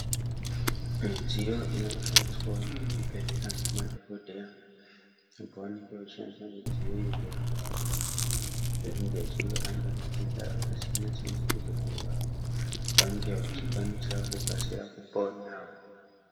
Midziyo inoshandiswawo muzvibhedhlera ngemadhokodheya pavanenge vachishandisa midziyo iyi kurape vanthu vanenge vachirwara, ngematenda akasiyana-siyana, kuti vanthu ava vange vachikwanisa kukasira kupona.